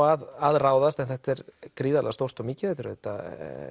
að ráðast en þetta er gríðarlega stórt og mikið þetta er auðvitað